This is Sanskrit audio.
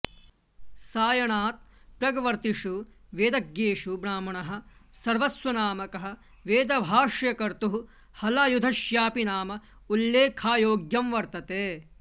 सायणात् प्रग्वर्तिषु वेदज्ञेषु ब्राह्मणः सर्वस्वनामकः वेदभाष्यकर्तुः हलायुधस्यापि नाम उल्लेखायोग्यं वर्तते